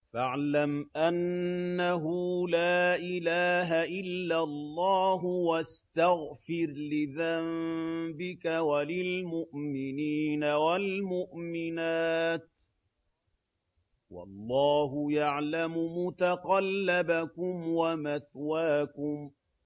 فَاعْلَمْ أَنَّهُ لَا إِلَٰهَ إِلَّا اللَّهُ وَاسْتَغْفِرْ لِذَنبِكَ وَلِلْمُؤْمِنِينَ وَالْمُؤْمِنَاتِ ۗ وَاللَّهُ يَعْلَمُ مُتَقَلَّبَكُمْ وَمَثْوَاكُمْ